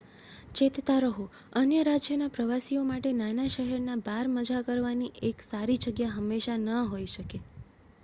ચેતતા રહો અન્ય રાજ્યના પ્રવાસી માટે નાના શહેરના બાર મજા કરવાની એક સારી જગ્યા હંમેશા ન હોય શકે